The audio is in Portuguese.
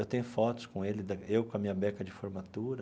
Eu tenho fotos com ele, eu com a minha beca de formatura.